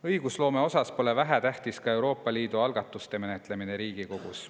Õigusloome osas pole vähetähtis ka Euroopa Liidu algatuste menetlemine Riigikogus.